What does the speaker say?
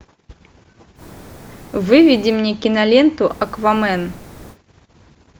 выведи мне киноленту аквамен